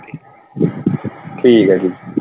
ਠੀਕ ਆ ਜੀ।